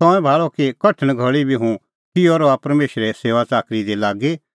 तंऐं भाल़अ कि कठण घल़ी बी हुंह किहअ रहा परमेशरे सेऊआ च़ाकरी दी लागी